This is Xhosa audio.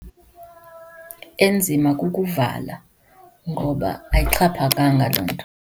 Enzima kukuvala ngoba ayixhaphakanga loo nto.